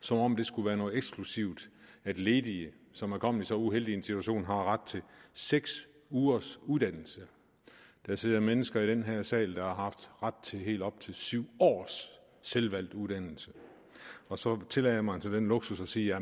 som om det skulle være noget eksklusivt at ledige som er kommet så uheldig situation har ret til seks ugers uddannelse der sidder mennesker i den her sal som har haft ret til helt op til syv års selvvalgt uddannelse og så tillader man sig den luksus at sige